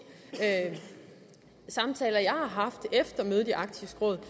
samtaler jeg har haft efter mødet i arktisk råd